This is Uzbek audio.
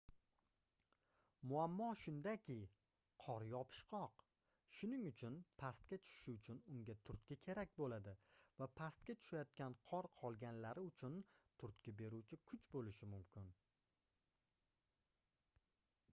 muammo shundaki qor yopishqoq shuning uchun pastga tushishi uchun unga turtki kerak boʻladi va pastga tushayotgan qor qolganlari uchun turtki beruvchi kuch boʻlishi mumkin